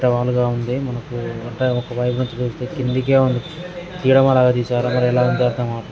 ఏటవాలుగా ఉంది. మనకు అంటే ఒక వైపు నుంచి చూస్తే కిందకే ఉంది. తెరమల్లుల తీశారు. అందులో ఎలా